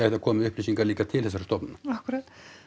komið með upplýsingar líka til þessara stofnana akkúrat